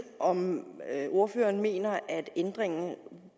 om ordføreren mener at ændringen